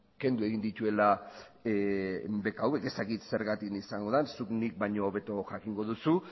kendu egin dituela beka hauek ez dakit zergatik izango den zuk nik baino hobeto jakingo duzu